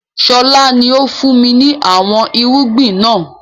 Sọlá ni ó fun mi ni àwọn irúgbìn náà